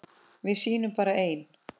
Við sýnum bara ein